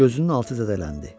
Gözünün altı zədələndi.